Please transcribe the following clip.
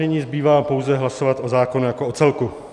Nyní zbývá pouze hlasovat o zákonu jako o celku.